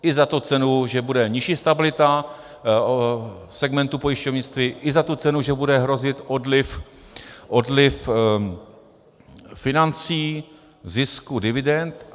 I za tu cenu, že bude nižší stabilita segmentu pojišťovnictví, i za tu cenu, že bude hrozit odliv financí, zisku, dividend.